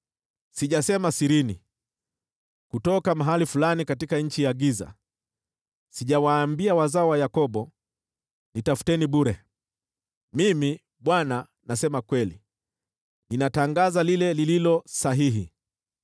Sijasema sirini, kutoka mahali fulani katika nchi ya giza; sijawaambia wazao wa Yakobo, ‘Nitafuteni bure.’ Mimi, Bwana , nasema kweli; ninatangaza lililo sahihi.